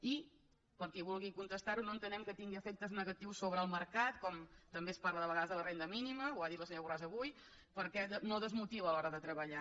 i per a qui vulgui contestar ho no entenem que tingui efectes negatius sobre el mercat com també es parla de vegades de la renda mínima ho ha dit la senyora borràs avui perquè no desmotiva a l’hora de treballar